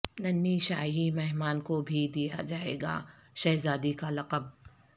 ننھی شاہی مہمان کو بھی دیا جائے گا شہزادی کا لقب